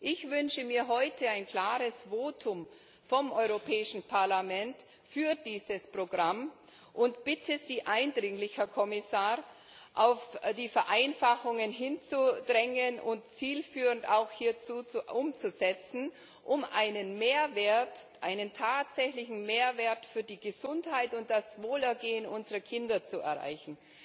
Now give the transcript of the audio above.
Ich wünsche mir heute ein klares Votum vom Europäischen Parlament für dieses Programm und bitte Sie eindringlich, Herr Kommissar, auf die Vereinfachungen zu dringen und sie auch zielführend umzusetzen, um einen tatsächlichen Mehrwert für die Gesundheit und das Wohlergehen unserer Kinder zu erreichen.